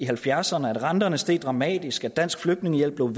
halvfjerdserne da renterne steg dramatisk da dansk flygtningehjælp blev